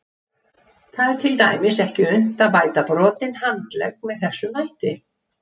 Það er til dæmis ekki unnt að bæta brotinn handlegg með þessum hætti.